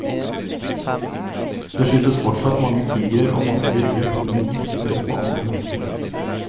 Det skytes fortsatt mange tigrer, og mange blir drept med gift eller på andre måter.